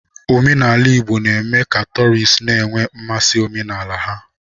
Omenala Igbo na-eme ka tọọrịst na-enwe mmasị n'omenala ha.